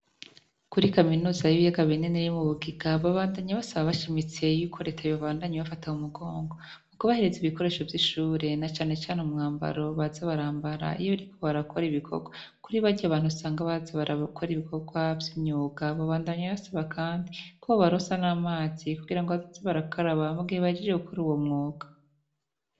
Kuri kaminuza y'ibiyaga binini yo mubugiga babandanya basaba bashimitse yuko reta yobandanya ibafata mu mugongo mukubahereza ibikoresho vy'ishure na cane cane umwambaro baza barambara iyo bariko barakora ibikogwa kuri barya bantu usanga baza barakora ibikogwa vy'imyuga, babandanya basaba Kandi kobobaronsa n'amazi kugirango bazoze barakaraba mugihe bahejeje gukora uwo mwuga.